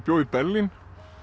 bjó í Berlín